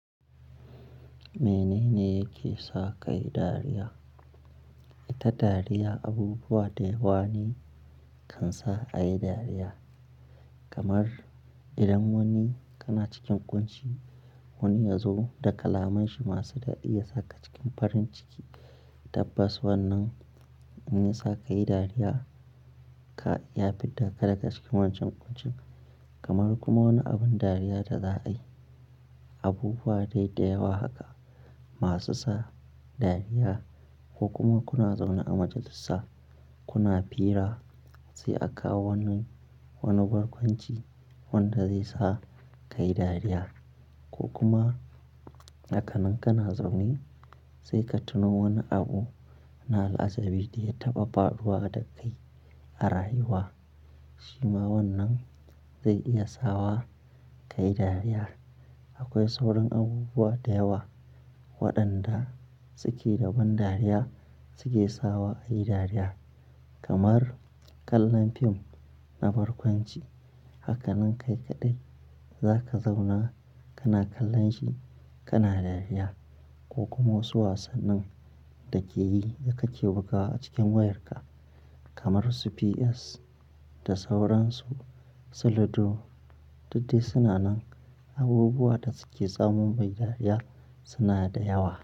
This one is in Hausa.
Menene yake sa ka yi dariya? Ita dariya abubuwa da yewa ne kan sa a yi dariya. Kamar idan wani kana cikin ƙunci wani ya zo da kalamanshi masu dadi ya saka cikin farin ciki, tabbas wannan zai sa ka yi dariya ka iya fidda ka daga cikin wancan ƙuncin. Kamar kuma woni abun dariya da za a yi. Abubuwa dai da yewa haka masu sa dariya ko kuma kuna zaune a majalisa kuna fira sai a kawo wannan, woni barkwanci wanda zai sa ka yi dariya. Ko kuma hakanan kana zaune sai ka tuno woni abu na al'ajabi da ya taɓa faruwa da kai a rayuwa shima wannan zai iya sawa ka yi dariya. Akoi sauran abubuwa da yawa waɗanda suke da ban dariya suke sawa a yi dariya. Kamar kallon fim na barkwanci hakanan kai kaɗai zaka zauna kana kallon shi kana dariya. Ko kuma wosu wasannin da ke yi da kake bugawa a cikin wayarka kamar su PS da sauransu, su ludo duk dai suna nan abubuwa da suke tsamu muyi dariya suna da yawa.